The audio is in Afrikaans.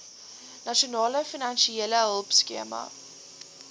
nasionale finansiële hulpskema